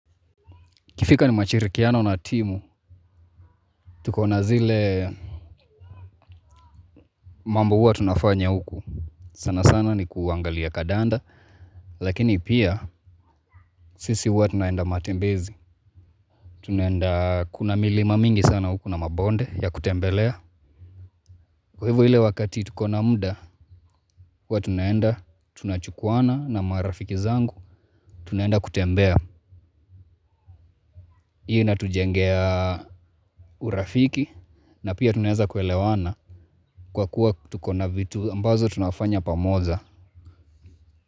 Ikifika ni mashirikiano na timu, tukona zile mambo huwa tunafanya huku. Sana sana ni kuangalia kadanda, lakini pia sisi huwa tunaenda matembezi. Tunaenda kuna milima mingi sana huku na mabonde ya kutembelea. Kwa hivo ile wakati tuko na muda, huwa tunaenda, tunachukuwana na marafiki zangu, tunaenda kutembea. Hii inatujengea urafiki na pia tunaweza kuelewana kwa kuwa tuko na vitu ambazo tunafanya pamoja.